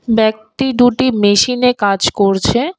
ব্যক্তি দুটি মেশিনে কাজ করছে।